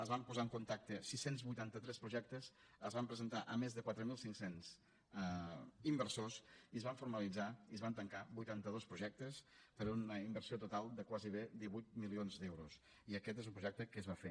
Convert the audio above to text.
es van posar en contacte sis cents i vuitanta tres projectes es van presentar a més de quatre mil cinc cents inversors i es van formalitzar i es van tancar vuitanta dos projectes per una inversió total de gairebé divuit milions d’euros i aquest és un projecte que es va fer